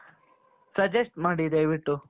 suggest ಮಾಡಿ ದಯವಿಟ್ಟು